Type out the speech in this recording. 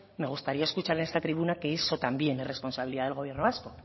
me gustaría escuchar en esta tribuna que eso también es responsabilidad del gobierno vasco